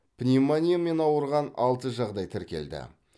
пневмониямен ауырған алты жағдай тіркелді